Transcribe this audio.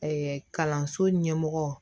kalanso ɲɛmɔgɔ